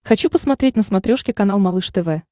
хочу посмотреть на смотрешке канал малыш тв